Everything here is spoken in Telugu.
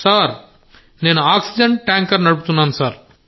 సార్ నేను ఆక్సిజన్ ట్యాంకర్ నడుపుతున్నాను సార్